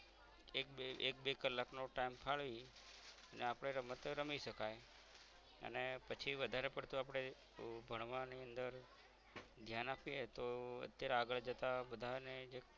એક બે એક બે કલાક નો time ફાડી ને આપણે રમતયા રમી સકાઇ અને પછી વધારે પડતો અપરે આહ ભણવાની અંદર ધ્યાન અપયે તોહ અત્યારે આગળ બધાનેજ